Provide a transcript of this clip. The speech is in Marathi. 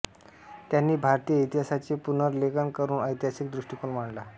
त्यांनी भारतीय इतिहासाचे पुनर्लेखन करून ऐतिहासिक दृष्टीकोन मांडला